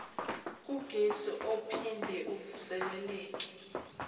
kugesi ophinde uvuseleleke